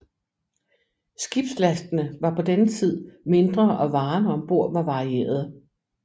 Skibslastene var på denne tid mindre og varerne ombord var varierede